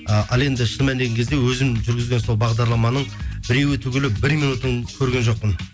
і ал енді шын мәніне келген кезде өзім жүргізген сол бағдарламаның біреуі түгілі бір минутын көрген жоқпын